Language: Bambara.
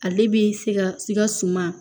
Ale bi sika sika suman